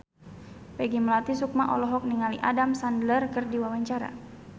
Peggy Melati Sukma olohok ningali Adam Sandler keur diwawancara